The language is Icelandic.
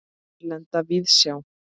Erlenda víðsjá.